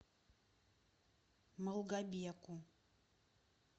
малгобеку